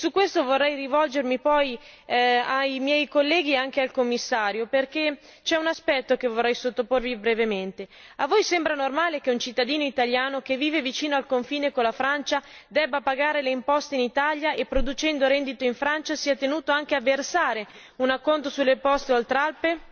A questo proposito, vorrei rivolgermi ai colleghi e al Commissario, perché c'è un aspetto che vorrei sottoporvi brevemente vi sembra normale che un cittadino italiano che vive vicino al confine con la Francia debba pagare le imposte in Italia e, producendo reddito in Francia, sia tenuto anche a versare un acconto sulle imposte Oltralpe?